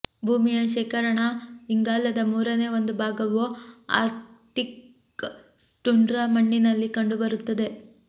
ಭೂಮಿಯ ಶೇಖರಣಾ ಇಂಗಾಲದ ಮೂರನೇ ಒಂದು ಭಾಗವು ಆರ್ಕ್ಟಿಕ್ ಟುಂಡ್ರಾ ಮಣ್ಣಿನಲ್ಲಿ ಕಂಡುಬರುತ್ತದೆ